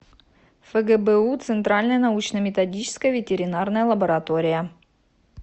фгбу центральная научно методическая ветеринарная лаборатория